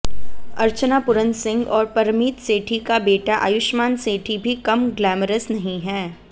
अर्चना पुरन सिंह और परमीत सेठी का बेटाआयुष्मान सेठी भी कम ग्लैमरस नहीं है